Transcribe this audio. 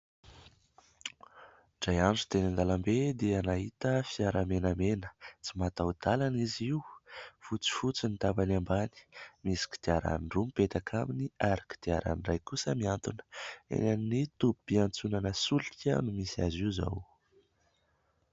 Indray andro teny an-dalambe dia nahita fiara menamena, tsy mataho-dalana izy io, fotsifotsy ny tapany ambany. Misy kodiaran-droa mipetaka aminy ary kodiaran-dray koa mihantona. Eny amin'ny tobim-piantsonana solika no misy azy io izao.